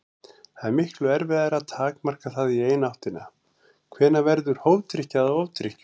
Það er miklu erfiðara að takmarka það í hina áttina: Hvenær verður hófdrykkja að ofdrykkju?